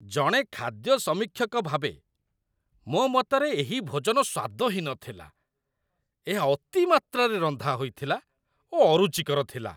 ଜଣେ ଖାଦ୍ୟ ସମୀକ୍ଷକ ଭାବେ, ମୋ ମତରେ ଏହି ଭୋଜନ ସ୍ଵାଦହୀନ ଥିଲା। ଏହା ଅତିମାତ୍ରାରେ ରନ୍ଧା ହୋଇଥିଲା ଓ ଅରୁଚିକର ଥିଲା।